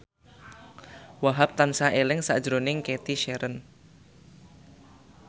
Wahhab tansah eling sakjroning Cathy Sharon